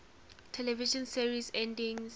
television series endings